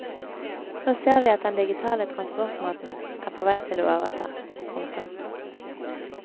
Nå ser vi at den digitale transportmåten er på vei til å overta. punktum